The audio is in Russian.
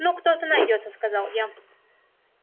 ну кто-то найдётся сказал я